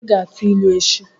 Ị ga-atụ ilu echi!